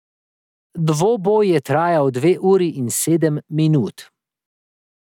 Dvoboj je trajal dve uri in sedem minut.